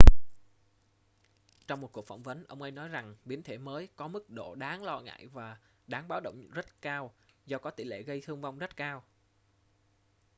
trong một cuộc phỏng vấn ông ấy nói rằng biến thể mới có mức độ đáng lo ngại và đáng báo động rất cao do có tỷ lệ gây thương vong rất cao